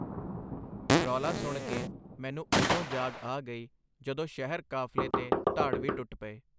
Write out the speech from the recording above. ਰੌਲਾ ਸੁਣ ਕੇ ਮੈਨੂੰ ਉਦੋਂ ਜਾਗ ਆ ਗਈ ਜਦੋਂ ਸ਼ਹਿਰ ਕਾਫ਼ਲੇ ਤੇ ਧਾੜਵੀ ਟੁੱਟ ਪਏ.